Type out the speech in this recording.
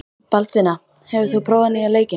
Baldvina, hefur þú prófað nýja leikinn?